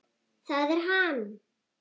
ÞAÐ ER HANN!